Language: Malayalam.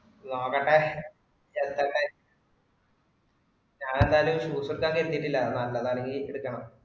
നോക്കട്ടെ ഞാനെന്തായാലും user tag ഇട്ടിട്ടില്ല, നല്ലതാണെങ്കിൽ എടുക്കണം.